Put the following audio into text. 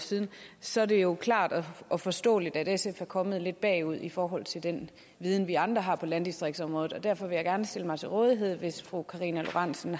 år siden så er det jo klart og forståeligt at sf er kommet lidt bagud i forhold til den viden vi andre har på landdistriktsområdet og derfor vil jeg gerne stille mig til rådighed hvis fru karina lorentzen